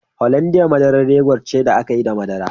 Hollandia madarar yogut ce da ake yi da madara